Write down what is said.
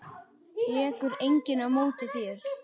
Tekur enginn á móti þér?